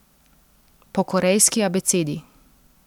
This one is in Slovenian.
Po korejski abecedi.